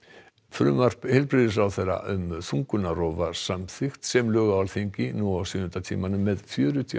frumvarp heilbrigðisráðherra um þungunarrof var samþykkt sem lög frá Alþingi nú á sjöunda tímanum með fjörutíu